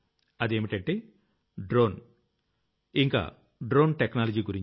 అదేంటంటే డ్రోన్ మరియు drone technology గురించి